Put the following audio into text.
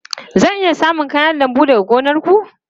Zan iya samun kayan lambu daga gonar ku?